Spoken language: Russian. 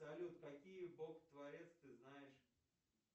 салют какие бог творец ты знаешь